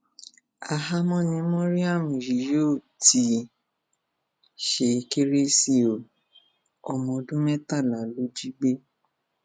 ahámọ ni mariam yìí yóò ti ṣe kérésì o ọmọọdún mẹtàlá ló jí gbé